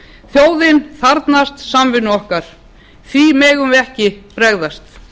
þjóðin þarfnast samvinnu okkar því megum við ekki bregðast